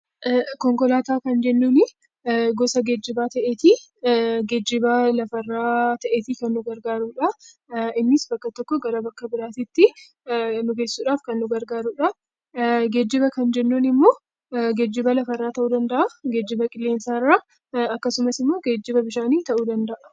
Konkolaataa kan jennuun gosa geejibaa ta'ee, geejiba lafa irraa ta'eeti kan nu gargaarudha. Innis bakka tokko irraa gara bakka biraatti nu geessuudhaaf kan gargaarudha. Geejiba kan jennuun immoo geejiba lafa irraa ta'uu danda'a, geejiba qilleensa irraa akkasumas immoo bishaanii ta'uu danda'a.